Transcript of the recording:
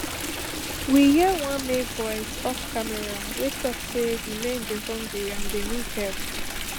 we hear one male voice off camera wey tok say di men dey hungry and dem need help